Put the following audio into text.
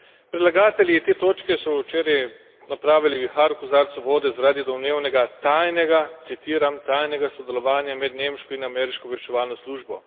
Predlagatelji te točke so včeraj napravili vihar v kozarcu vode zaradi domnevnega tajnega, citiram, tajnega sodelovanja med nemško in ameriško obveščevalno službo.